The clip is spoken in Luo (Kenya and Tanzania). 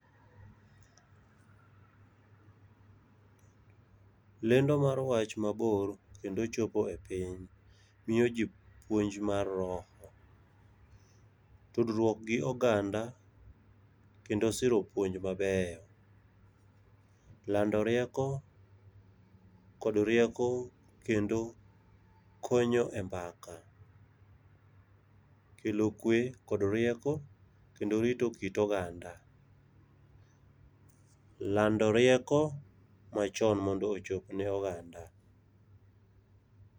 Lendo mar wach mabor kendo chopo e piny, miyo ji puonj mar roho. Tudruok gi oganda kendo siro puonj maber. Lando rieko kod rieko kendo konyo e mbaka, kelo kwe kod rieko kendo rito kit oganda. Lando rieko machon modno ochop ne oganda.